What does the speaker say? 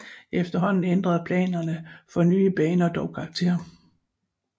Efterhånden ændrede planerne for nye baner dog karakter